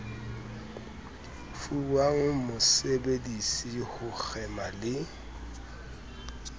fuwang mosebedisi ho kgema le